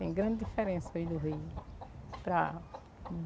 Tem grande diferença hoje do Rio, para